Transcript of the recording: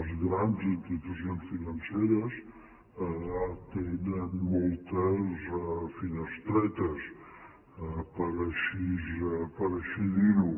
les grans institucions financeres tenen moltes finestretes per així dir ho